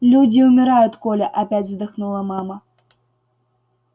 люди умирают коля опять вздохнула мама